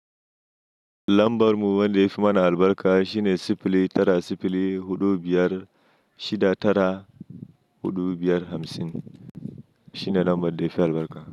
Lambar mu wanda ya fi mana albarka shine sifili tara sifili huɗu biyar shida tara huɗu biyar hamsin. Shine lambar da yafi albarka.